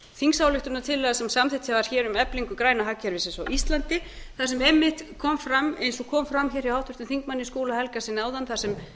þingsályktunartillaga sem samþykkt var hér um eflingu græna hagkerfisins á íslandi eins og kom fram hjá háttvirtum þingmanni skúla helgasyni áðan þar sem